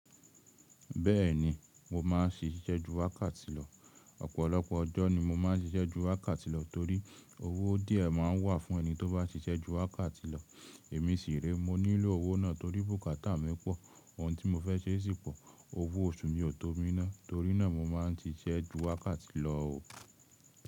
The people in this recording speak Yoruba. Bẹ́ẹ̀ni, mo máà ń ṣiṣẹ́ ju wákàtì lọ. Ọ̀pọ̀lọpọ̀ ọjọ́ ni mo máà ń ṣiṣẹ́ ju wákàtì lọ torí owó díẹ̀ má ń wà fún ẹni tó bá ṣiṣẹ́ ju wákàtì lọ. Èmi sì re, mo nílò owó náà torí bùkátà mi pọ̀, ohun tí mo fẹ́ ṣe sì pọ̀. Owó oṣù mi ò tó mi ná, torí náà mo máa ń ṣiṣẹ́ ju wákàtì lọ ò.